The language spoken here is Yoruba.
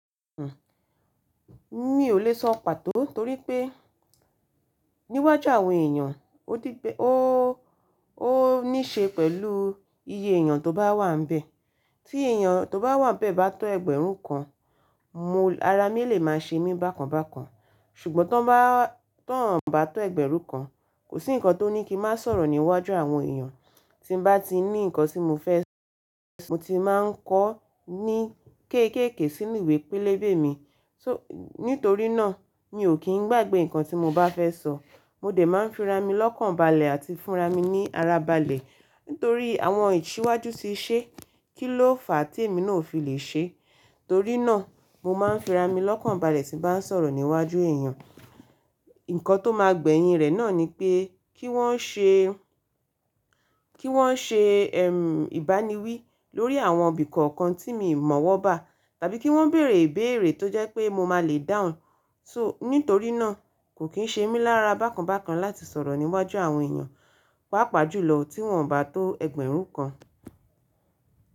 Mmi ò le sọ pàtó torí pé níwájú àwọn èèyàn, ó níṣe pẹ̀lú iye èèyàn tó bá wà ńbẹ̀. Tí èèyàn tó bá wà ńbẹ̀ bá tó ẹgbẹ̀rún kan, mo-- ara mi lè máa ṣe mí bákan bákan. Ṣùgbọ́n tó ń bá, tó ń bá tó ẹgbẹ̀rún kan, kò sí nǹkan tó ní kí má sọ̀rọ̀ níwájú àwọn èèyàn. Tí mo bá ti ní nǹkan tí mo fẹ́ sọ, mo ti máa ń kọ ọ́ ní kéékèèké sínú ìwé pélébé mi. So-- nítorí náà mi ò kí n gbàgbé nǹkan tí mo bá fẹ́ sọ. Mo dẹ máa ń fi ra mi lọ́kànbalẹ̀ àti fúnra mi ní ara balẹ̀. Nítorí àwọn ìṣíwájú ti ṣe, kíló fàá tí èmi náà ò fi lè ṣe? Torí náà mo má ń fi ra mi lọ́kànbalẹ̀ tí mo bá ń sọ̀rọ̀ níwájú èèyàn. Nǹkan tó máa gbẹ̀yin rẹ̀ náà ni pé kí wọ́n ṣe, kí wọ́n ṣe ẹm ìbániwí lórí àwọn ibì kọ̀ọ̀kan tí mo mọ̀ ọ́ bá tàbí kí wọ́n bèèrè ìbèèrè tó jẹ́ pé mo máa le dáhùn. So-- nítorí náà kò kín ṣe mí lára bákan bákan láti sọ̀rọ̀ níwájú àwọn èèyàn, pàápàá jùlọ tí wọ́n bá tó ẹgbẹ̀rún kan.